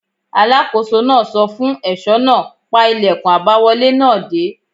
Alákóso náà sọ fún ẹ̀ṣọ́ náà: pa ìlẹ̀kùn àbáwọlé náà dé!